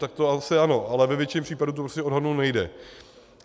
Tak to asi ano, ale ve většině případů to prostě odhadnout nejde.